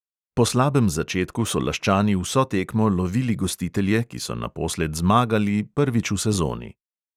Po slabem začetku so laščani vso tekmo lovili gostitelje, ki so naposled zmagali prvič v sezoni.